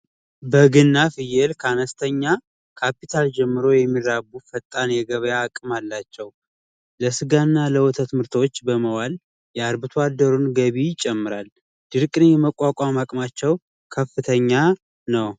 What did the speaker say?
በግና ፍየል ከአነስተኛ ካፒታል ጀምሮ የሚራቡ ፈጣን የገበያ አቀርቦት አላቸው። ለወተት እና ለስጋ ምርቶች በመዋል የአርብቶ አደሩን ገቢ ይጨምራል። ድርቅን የመቋቋም ሀቅማቸው ከፍተኛ ነው።